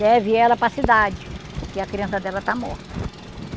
Leve ela para cidade, que a criança dela está morta.